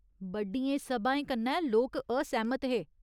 बड्डियें सभाएं कन्नै लोक असैह्‌मत हे।